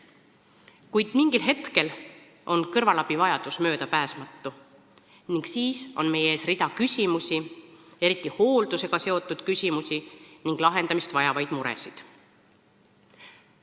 Kuid mingil hetkel on kõrvalabi vajadus möödapääsmatu ning siis on meie ees hulk küsimusi, eriti hooldusega seotud küsimusi, ja lahendamist vajavaid muresid.